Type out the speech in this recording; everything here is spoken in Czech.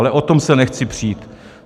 Ale o tom se nechci přít.